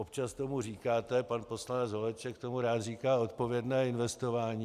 Občas tomu říkáte - pan poslanec Holeček tomu rád říká odpovědné investování.